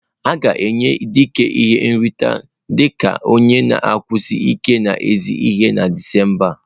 A ga-enye Idika ihe nrite dị ka onye na-eguzosi ike n'ezi ihe na Disemba a.